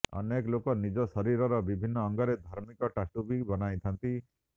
ଅନେକ ଲୋକ ନିଜ ଶରୀରର ବିଭିନ୍ନ ଅଙ୍ଗରେ ଧାର୍ମିକ ଟାଟୁ ବି ବନାଇଥାଆନ୍ତି